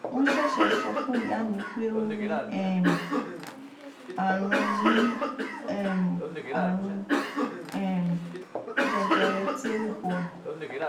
wọn ṣẹṣẹ sọ fún ìyá mi pé ó ní um àrùn ní um àrùn um jẹjẹrẹ tailbone